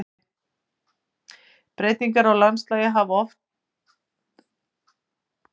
Breytingar á landslagi hafa einstöku sinnum orðið við jarðskjálfta á Íslandi að mönnum ásjáandi.